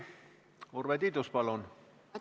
Urve Tiidus, palun!